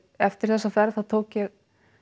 eftir þessa ferð þá tók ég